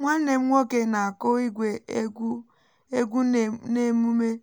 nwanne m nwoke na-akụ igwe egwu egwu n’emume um iji